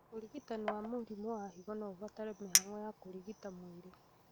ũrigitani wa mũrimũ wa higo noũbatare mĩhang'o ya kũrigita mwĩrĩ